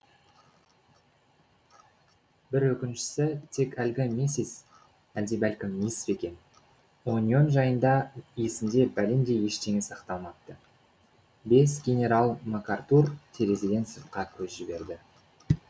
бір өкініштісі тек әлгі миссис әлде бәлкім мисс пе екен оньон жайында есінде бәлендей ештеңе сақталмапты бес генерал макартур терезеден сыртқа көз жіберді